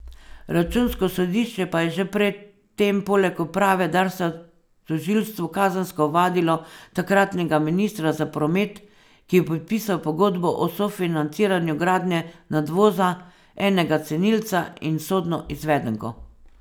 Računsko sodišče pa je že pred tem poleg uprave Darsa tožilstvu kazensko ovadilo takratnega ministra za promet, ki je podpisal pogodbo o sofinanciranju gradnje nadvoza, enega cenilca in sodno izvedenko.